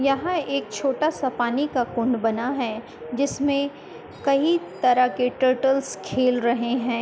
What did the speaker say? यहाँ एक छोटा सा पानी का कुंड बना है जिसमें कहीं तरह के टर्टल्स खेल रहे हैं।